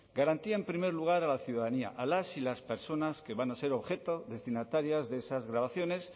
garantía en primer lugar a la ciudadanía a las personas que van a ser objeto destinatarias de esas grabaciones